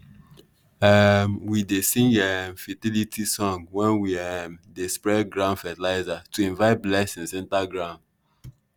um we dey sing fertility um song when we um dey spread ground fertilizer to invite blessing enter ground.